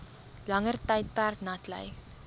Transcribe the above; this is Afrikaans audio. langer tydperk natlei